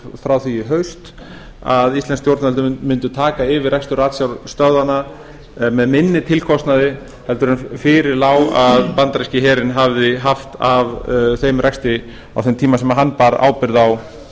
frá því í haust að íslensk stjórnvöld mundu taka yfir rekstur ratsjárstöðvanna með minni tilkostnaði en fyrir lá að bandaríski herinn hafði haft af þeim rekstri á þeim tíma sem hann bar ábyrgð